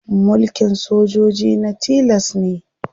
Mulkin sojoji na tilas ne.